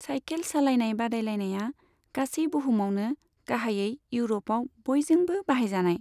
सायखेल सालायनाय बादायलायनाया गासै बुहुमावनो, गाहायै इउर'पआव बयजोंबो बाहायजानाय।